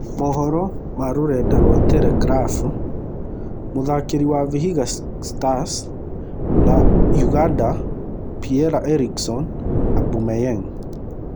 (Mohoro ma Rũrenda rwa Teregirabu) Mũtharĩkĩri wa Vihiga Stars na Ũganda Piera-Erickson Aubameyang,